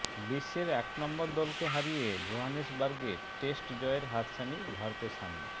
বিশ্বের এক নম্বর দলকে হারিয়ে জোহানেসবার্গে টেস্ট জয়ের হাতছানি ভারতের সামনে